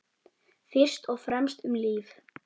Fyrst og fremst um líf.